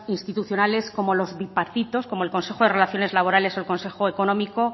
institucionales como los bipartitos como el consejo de relaciones laborales o el consejo económico